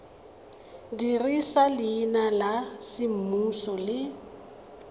dirisa leina la semmuso le